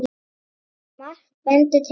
Margt bendir til annars.